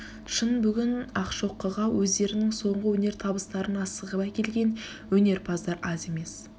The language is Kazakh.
шын бүгін ақшокыға өздерінің сонғы өнер табыстарын асығып әкелген өнерпаадар аз емес